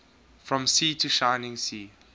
from sea to shining sea